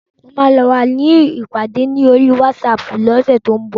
Mo máa ní ìpàdé ní oríi wátísapù ní ọ̀sẹ̀ tí ó ń bọ̀